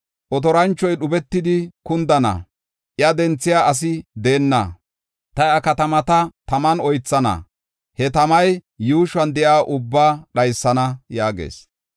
Otoranchoy dhubetidi kundana; iya denthiya asi deenna. Ta iya katamata taman oythana; he tamay yuushuwan de7iya ubba dhaysana” yaagees.